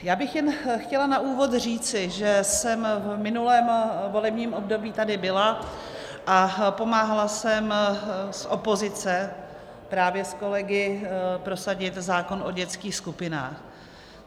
Já bych jen chtěla na úvod říci, že jsem v minulém volebním období tady byla a pomáhala jsem z opozice právě s kolegy prosadit zákon o dětských skupinách.